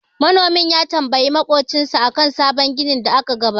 Manomin ya tambayi maƙocinsa akan sabon irin da aka gabatar.